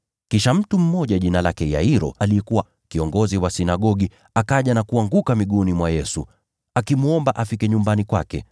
Kisha mtu mmoja, jina lake Yairo, aliyekuwa kiongozi wa sinagogi, akaja na kuanguka miguuni mwa Yesu, akimwomba afike nyumbani kwake,